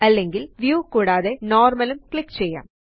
അല്ലെങ്കില് വ്യൂ കൂടാതെ നോർമൽ ഉം ക്ലിക്ക് ചെയ്യാം